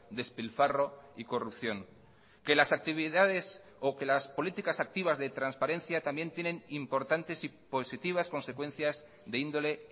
despilfarro y corrupción que las actividades o que las políticas activas de transparencia también tienen importantes y positivas consecuencias de índole